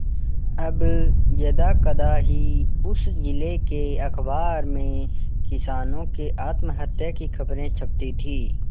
अब यदाकदा ही उस जिले के अखबार में किसानों के आत्महत्या की खबरें छपती थी